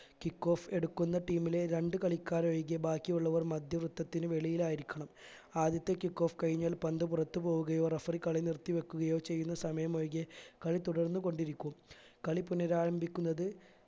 kick off എടുക്കുന്ന team ലെ രണ്ടു കളിക്കാർ ഒഴികെ ബാക്കിയുള്ളവർ മധ്യവൃത്തത്തിനു വെളിയിലായിരിക്കണം ആദ്യത്തെ kick off കഴിഞ്ഞാൽ പന്ത് പുറത്ത് പോവുകയോ referee കളി നിർത്തി വെക്കുകയോ ചെയ്യുന്ന സമയം ഒഴികെ കളി തുടർന്ന് കൊണ്ടിരിക്കും കളി പുനരാരംഭിക്കുന്നത്